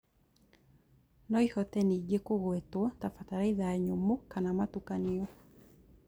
Noĩhote nĩngĩ kũgwetwo ta bataraitha nyũmũ kana ya mũtukanio